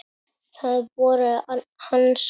Það voru hans orð.